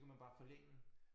Så kan man bare forlænge